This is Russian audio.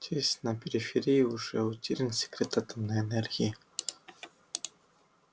здесь на периферии уже утерян секрет атомной энергии